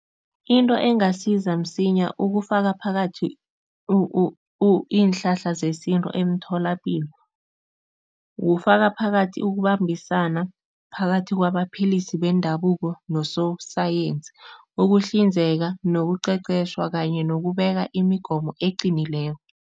Into engasiza msinya ukufaka phakathi iinhlahla zesintu emtholapilo, kufaka phakathi ukubambisana phakathi kwabaphilisi bendabuko nososayensi, ukuhlinzeka nokuqeqeshwa kanye nokubeka imigomo eqinileko.